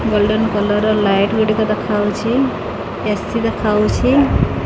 Golden collar ର light ଗୁଡ଼ିକ ଦେଖାଯାଉଛି ଏ-ସି ଦେଖାଯାଉଛି।